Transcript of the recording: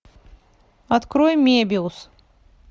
открой мебиус